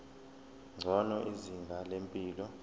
ngcono izinga lempilo